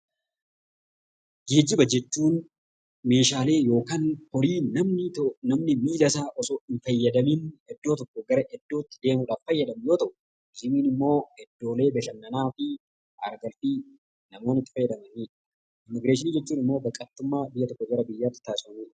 Geejjiba jechuun meeshaalee yookiin namni miilasaa osoo hin fayyadamiin iddoodhaa gara iddoo biraatti kan socho'u yoo ta'u, turizimiin immoo iddoolee bashannanaa fi namoonni itti fayyadamanidha. Immiigireeshiniin godaansa biyyaa gara biyyaatti taasifamudha.